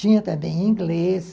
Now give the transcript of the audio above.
Tinha também inglês.